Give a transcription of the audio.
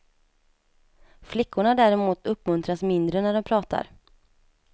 Flickorna däremot uppmuntras mindre när de pratar.